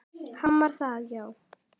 Hann var það, já.